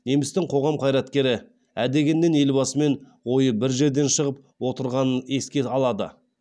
немістің қоғам қайраткері ә дегеннен елбасымен ойы бір жерден шығып отырғанын еске алады